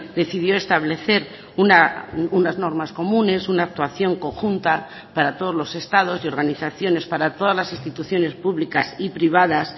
decidió establecer unas normas comunes una actuación conjunta para todos los estados y organizaciones para todas las instituciones públicas y privadas